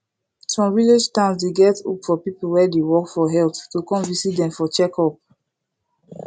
some village towns dey get hope for people wey dey work for health to come visit for dem checkup